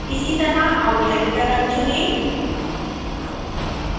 इसी तरह outline का रंग चुनें